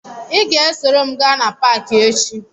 Ị ga-esoro m gaa na paakị echi